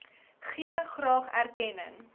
gee graag erkenning